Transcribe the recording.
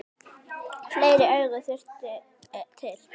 Fleiri augu þyrfti til.